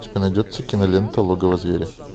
у тебя найдется кинолента логово зверя